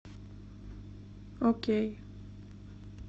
окей